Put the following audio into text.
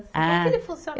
Ah. Como é que ele funcionava?